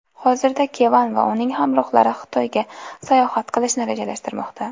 Hozirda Kevan va uning hamrohlari Xitoyga sayohat qilishni rejalashtirmoqda.